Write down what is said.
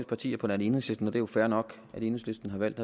partier på nær enhedslisten og det er jo fair nok at enhedslisten har valgt